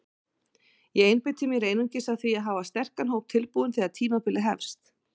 Ég einbeiti mér einungis að því að hafa sterkan hóp tilbúinn þegar tímabilið hefst.